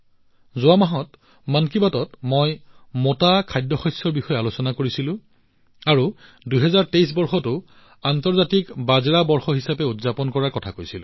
যোৱা মাহত মন কী বাতত মই মোটা খাদ্যশস্যৰ বিষয়ে আলোচনা কৰিছিলো আৰু ২০২৩ বৰ্ষটো আন্তৰ্জাতিক বাজৰা বৰ্ষ হিচাপে উদযাপন কৰাৰ কথা কৈছিলো